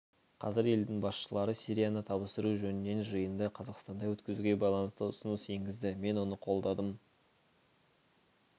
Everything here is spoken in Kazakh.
қазір елдің басшылары сирияны табыстыру жөнінен жиынды қазақстанда өткізуге байланысты ұсыныс енгізді мен оны қолдадым